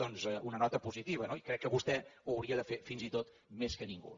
doncs una nota positiva no i crec que vostè ho hauria de fer fins i tot més que ningú